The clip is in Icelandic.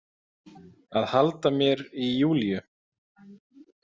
Að halda mér í Júlíu.